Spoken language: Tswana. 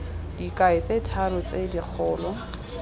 dikai tse tharo tse dikgolo